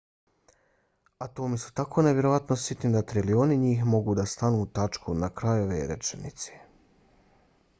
atomi su tako nevjerovatno sitni da trilioni njih mogu da stanu u tačku na kraju ove rečenice